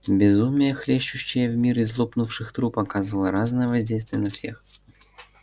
безумие хлещущее в мир из лопнувших труб оказывало разное воздействие на всех